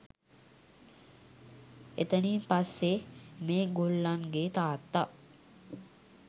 එතනින් පස්සේ මේ ගොල්ලන්ගේ තාත්තා